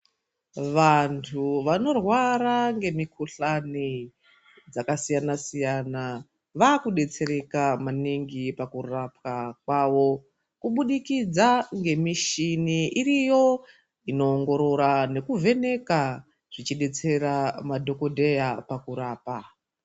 Vantu vanorwara ngemukhuhlani dzakasiyana-siyana vaakudetsereka maningi pakurapwa kwavo, kubudikidza ngemishini iriyo inoongorora nekuvheneka zvichidetsera madhokodheya pakurapa.